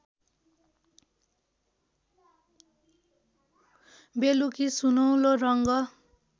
बेलुकी सुनौलो रङ्ग